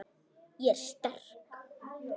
Ég er sterk.